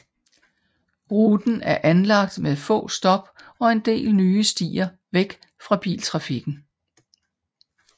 Ruten er anlagt med få stop og en del nye stier væk fra biltrafikken